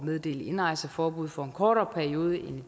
meddele indrejseforbud for en kortere periode end